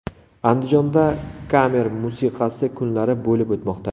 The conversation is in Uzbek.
Andijonda kamer musiqasi kunlari bo‘lib o‘tmoqda.